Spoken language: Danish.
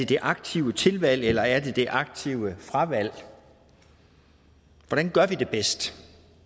det aktive tilvalg eller er det det aktive fravalg hvordan gør vi det bedst